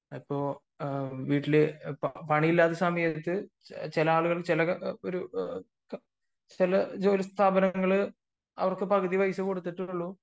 അപ്പൊ വീട്ടില് പണിയില്ലാത്ത സമയങ്ങളിൽ ചില സ്ഥാപങ്ങൾ അവർക്ക് പകുതി പൈസ മാത്രമേ കൊടുത്തിട്ടുള്ളൂ